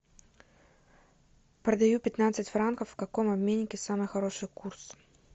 продаю пятнадцать франков в каком обменнике самый хороший курс